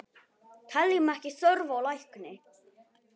Teljum ekki þörf á lækni!